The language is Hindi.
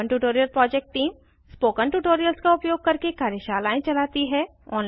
spoken tutorial project team spoken tutorials का उपयोग करके कार्यशालाएं चलाती है